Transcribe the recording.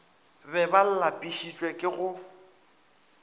be ba lapišitšwe ke go